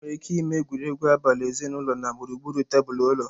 Enwere ike ịme egwuregwu abali ezinụlọ na gburugburu tebụl ụlọ.